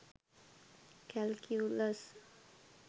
calculus